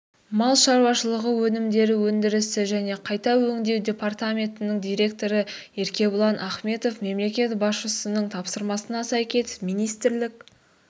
мал шаруашылығы өнімдері өндірісі және қайта өңдеу департаментінің директоры еркебұлан ахметов мемлекет басшысының тапсырмасына сәйкес министрлік